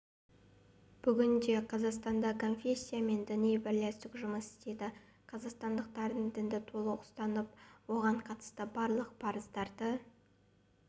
бүгінде қазақстанда конфессия мен діни бірлестік жұмыс істейді қазақстандықтардың дінді толық ұстанып оған қатысты барлық парыздарды